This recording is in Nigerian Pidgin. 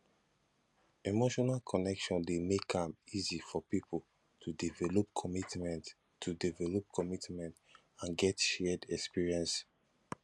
emotional connection de make am easy for pipo to develop commitment to develop commitment and get shared experience